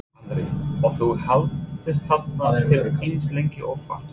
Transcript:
Andri: Og þú heldur hérna til eins lengi og þarf?